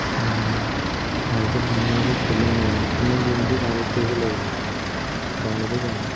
উম ভালকে ধুনীয়াকে খেলিম আৰু। মই game টো download কৰিব লাগিব। download য়েই কৰা নাই।